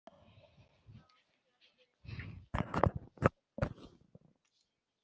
Er of hræddur við þær.